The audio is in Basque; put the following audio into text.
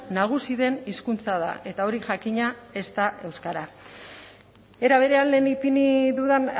nagusi den hizkuntza da eta hori jakina ez da euskara era berean lehen ipini dudan